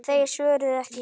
Þeir svöruðu ekki.